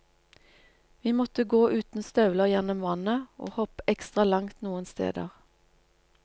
Vi måtte gå uten støvler gjennom vannet, og hoppe ekstra langt noen steder.